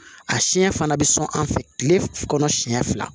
A siɲɛ fana bɛ sɔn an fɛ tile kɔnɔ siɲɛ fila